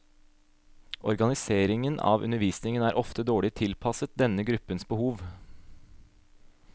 Organiseringen av undervisningen er ofte dårlig tilpasset denne gruppens behov.